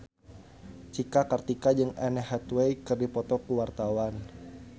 Cika Kartika jeung Anne Hathaway keur dipoto ku wartawan